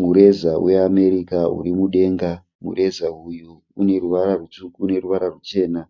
Mureza we America uri mudenga. Mureza uyu une ruvara rutsvuku neruvara ruchena.